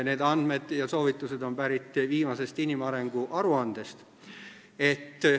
Need andmed ja soovitused on pärit viimasest inimarengu aruandest.